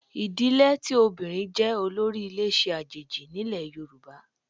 Ìdílé tí obìnrin jẹ́ olórí ilé ṣe àjèjì nílẹ̀ Yorùbá